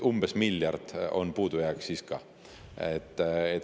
Umbes miljard on siis ka puudujääk.